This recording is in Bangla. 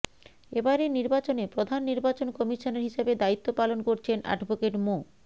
এবারের নির্বাচনে প্রধান নির্বাচন কমিশনার হিসাবে দায়িত্ব পালন করছেন অ্যাডভোকেট মো